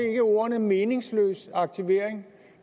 ordene meningsløs aktivering